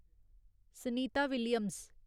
Sunita Williams